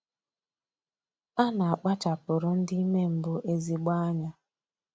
A na-akpachapụrụ ndị ime mbụ ezigbo anya